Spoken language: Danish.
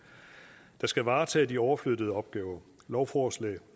der skal varetage de overflyttede opgaver lovforslag